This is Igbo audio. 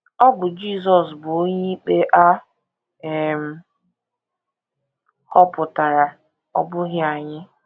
Ọ bụ Jisọs bụ onyeikpe a um họpụtara; ọ bụghị anyị.